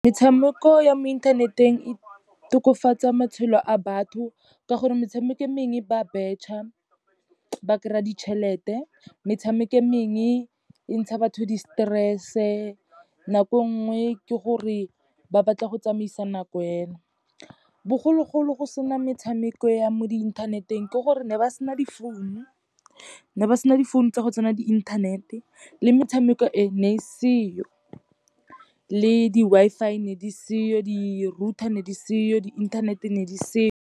Metshameko ya mo inthaneteng e tokafatsa matshelo a batho ka gore, metshameko e mengwe ba a betšha, ba kry-a ditšhelete. Metshameko e mengwe e ntsha batho di-stress-e, nako e nngwe ke gore ba batla go tsamaisa nako fena. Bogologolo go sena metshameko ya mo di-internet-eng, ke gore ne ba sena difounu, ne ba sena difounu tsa go tsena di inthanete, le metshameko e, ne e seyo. Le di-Wi-Fi ne di seyo, di-router di ne di seyo, di inthanete ne di seyo.